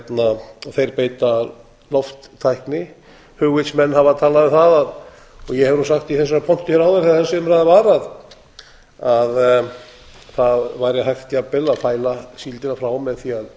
á þá þeir beita lofttækni hugvitsmenn hafa talað um það og ég hef nú sagt í þessari pontu hér áður eiga þessi umræða var að það væri hægt jafnvel að fæla síldina frá með því að